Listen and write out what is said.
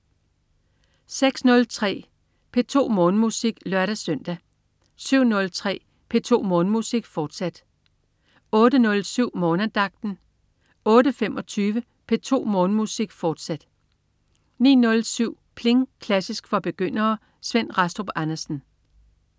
06.03 P2 Morgenmusik (lør-søn) 07.03 P2 Morgenmusik, fortsat (lør-søn) 08.07 Morgenandagten 08.25 P2 Morgenmusik, fortsat 09.07 Pling! Klassisk for begyndere. Svend Rastrup Andersen